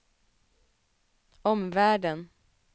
omvärlden